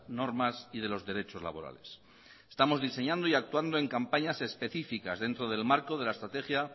normas y de los derechos laborales estamos diseñando y actuando en campañas especificas dentro del marco de la estrategia